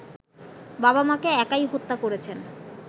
বাবা-মাকে একাই হত্যা করেছেন